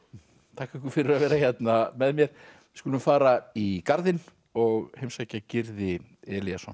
þakka ykkur fyrir að vera hérna með mér við skulum fara í Garðinn og heimsækja Gyrði Elíasson